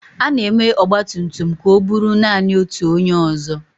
A na-eme ọgba tum tum ka o buru naanị otu onye ọzọ.